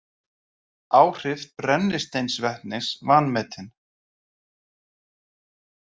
Áhrif brennisteinsvetnis vanmetin